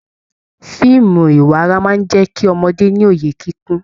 Fíìmù ìwárà máa n jẹ kí ọmọdé ní òye kíkún.